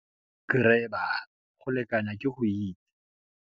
Grabber - Go lekanya ke go itse.